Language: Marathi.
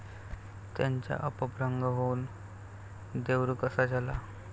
त्याचा अपभ्रंश होऊन देवरुख असा झाला.